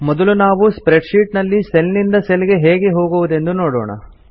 ಮೊದಲು ನಾವು spreadsheet ನಲ್ಲಿ ಸೆಲ್ ನಿಂದ ಸೆಲ್ ಗೆ ಹೇಗೆ ಹೋಗುವುದೆಂದು ನೋಡೋಣ